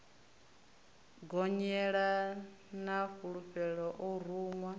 gonyela na fulela o ruṅwa